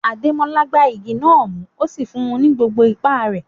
Ademola gbá igi náà mú, ó sì fún un ní gbogbo ipá rẹ̀.